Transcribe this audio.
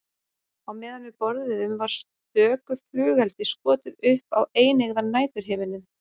Á meðan við borðuðum var stöku flugeldi skotið upp á eineygðan næturhimininn.